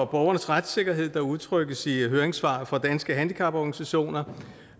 borgernes retssikkerhed der udtrykkes i høringssvaret fra danske handicaporganisationer